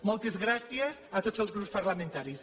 moltes gràcies a tots els grups parlamentaris